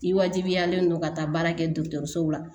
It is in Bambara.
I wajibiyalen don ka taa baara kɛ dɔgɔtɔrɔsow la